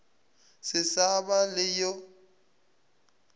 se sa ba le yo